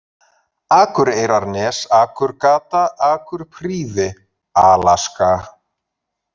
Akureyrarnes, Akurgata, Akurprýði, Alaska